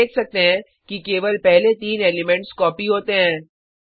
हम देख सकते हैं कि केवल पहले तीन एलिमेंट्स कॉपी होते हैं